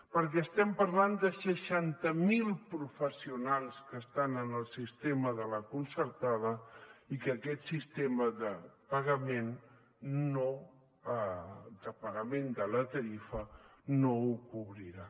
perquè estem parlant de seixanta mil professionals que estan en el sistema de la concertada i que aquest sistema de pagament de la tarifa no ho cobrirà